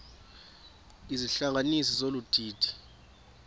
izihlanganisi zolu didi